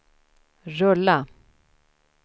rulla